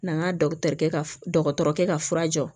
N'an ka kɛ ka dɔgɔtɔrɔkɛ ka fura jɔ